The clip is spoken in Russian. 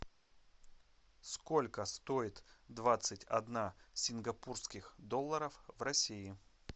сколько стоит двадцать одна сингапурских долларов в россии